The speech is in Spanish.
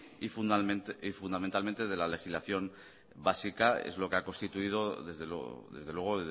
y fundamentalmente de la legislación básica es lo que ha constituido desde luego